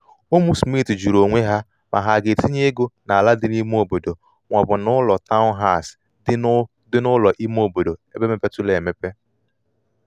ụmụ smith jụrụ onwe ha ma ha ga-etinye ego n’ala dị n’ime obodo ma ọ bụ um n’ụlọ taụnhas dị n’ụlọ ime obodo ebe mepeturu emepe